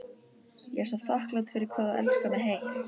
Ég er svo þakklát fyrir hvað þú elskar mig heitt.